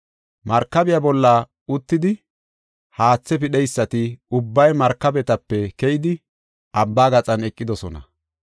“Markabiya bolla uttidi haatha pidheysati ubbay markabetape keyidi, abba gaxan eqidosona.